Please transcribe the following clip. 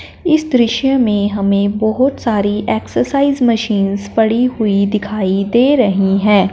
इस दृश्य में हमें बहुत सारी एक्सरसाइ मशीनस पड़ी हुई दिखाई दे रहीं हैं।